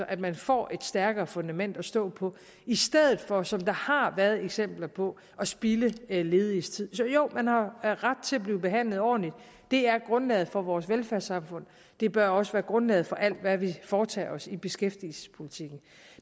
at man får et stærkere fundament at stå på i stedet for som der har været eksempler på at spilde lediges tid så jo man har ret til at blive behandlet ordentligt det er grundlaget for vores velfærdssamfund det bør også være grundlaget for alt hvad vi foretager os i beskæftigelsespolitikken